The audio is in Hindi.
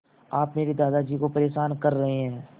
आप मेरे दादाजी को परेशान कर रहे हैं